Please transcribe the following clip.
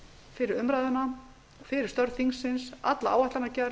fyrir umræðuna fyrir störf þingsins og alla áætlanagerð